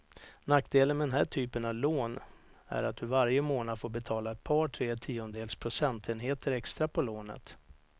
Nackdelen med den här typen av lån är att du varje månad får betala ett par, tre tiondels procentenheter extra på lånet.